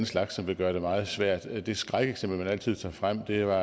slags som vil gøre det meget svært det skrækeksempel man altid tager frem er